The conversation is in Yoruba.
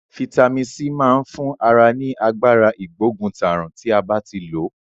Fítàmì C ma n fun ara ni Agbára ìgbóguntàrùn ti a ba ti lo.